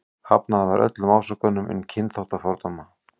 Hafnað var öllum ásökunum um kynþáttafordóma.